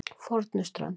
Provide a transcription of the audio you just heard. Fornuströnd